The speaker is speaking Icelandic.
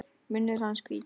Munnur hans hvítur.